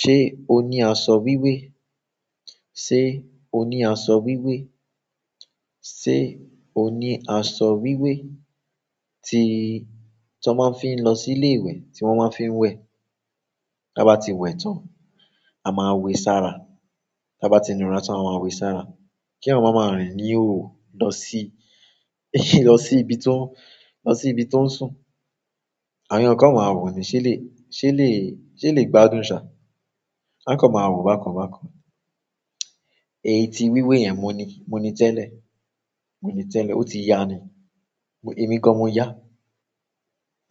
Ṣé o ní aṣọ wíwé? Sé o ní aṣọ wíwé? Sé o ní aṣọ wíwé tí, tí wón máa ń fi ń lọ sí ilé ìwẹ̀, tí wón máa ń fi ń wẹ̀. Ta bá ti wẹ̀ tán, a máa wẹ sára. Ta ba ti nura tan a maa we si ara kí yan máa ma rìn ní ihoho lọ sí, lọ sí ibi tó, lọ sí ibi tó ń sùn. Àwọn eeyan kan ma wọ̀ ni ṣé elè, ṣé elè, ṣé elèyi gbádùn ṣa. Wọn kan ma wo bákan bákan. Èyí tí wíwé yẹn mo ní, mo ní tẹ́lẹ̀, mo ní tẹ́lẹ̀, ó ti ya ni. Èmi gan-an mo yá,